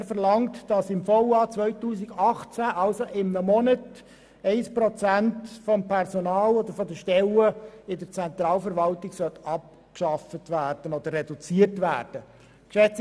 Brönnimann verlangt, dass im VA 2018, also innerhalb eines Monats, der Stellenetat der Zentralverwaltung um 1 Prozent reduziert werden soll.